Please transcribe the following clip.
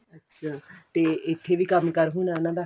ਅੱਛਾ ਤੇ ਇੱਥੇ ਵੀ ਕੰਮਕਾਰ ਹੋਣਾ ਉਹਨਾ ਦਾ